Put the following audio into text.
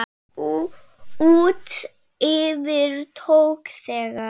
Út yfir tók þegar